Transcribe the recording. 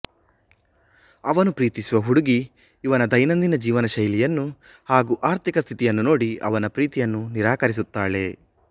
ಅವನು ಪ್ರೀತಿಸುವ ಹುಡುಗಿ ಇವನ ದೈನಂದಿನ ಜೀವನ ಶೈಲಿಯನ್ನು ಹಾಗೂ ಆರ್ಥಿಕ ಸ್ಥಿತಿಯನ್ನು ನೋಡಿ ಅವನ ಪ್ರೀತಿಯನ್ನು ನಿರಾಕರಿಸುತ್ತಾಳೆ